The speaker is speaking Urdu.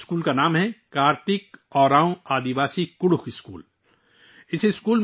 اس اسکول کا نام 'کارتک اوراون آدیواسی کڈکھ اسکول' ہے